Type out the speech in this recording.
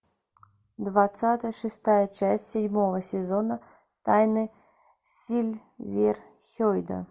двадцатая шестая часть седьмого сезона тайны сильверхейда